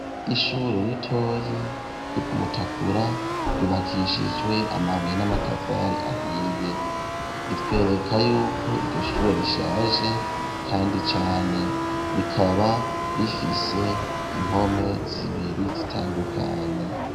Ishure ritoyi ryo ku Mutakura ryubakishijwe amabuye n'amatafari ahiye, ritwereka y'uko iryo shure rishaje kandi cane ,rikaba rifise impome zibiri zitandukanye.